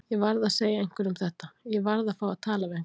Ég varð að segja einhverjum þetta. ég varð að fá að tala við einhvern.